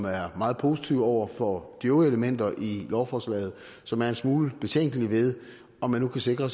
er meget positive over for de øvrige elementer i lovforslaget som er en smule betænkelige ved om man nu kan sikre